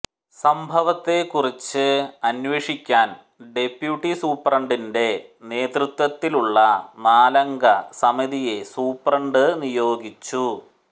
സംഭവത്തെക്കുറിച്ച് അന്വേഷിക്കാൻ ഡെപ്യൂട്ടി സൂപ്രണ്ടിന്റെ നേതൃത്വത്തിലുള്ള നാലംഗ സമിതിയെ സൂപ്രണ്ട് നിയോഗിച്ചു